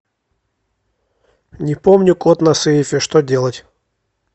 не помню код на сейфе что делать